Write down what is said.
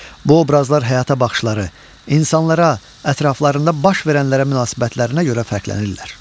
Bu obrazlar həyata baxışları, insanlara, ətraflarında baş verənlərə münasibətlərinə görə fərqlənirlər.